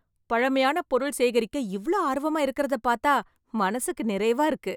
பழமையான பொருள் சேகரிக்க இவ்ளோ ஆர்வமா இருக்கறத பாத்தா மனசுக்கு நிறைவா இருக்கு.